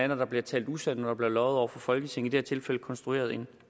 når der blev talt usandt og blev løjet over for folketinget og tilfælde konstrueret en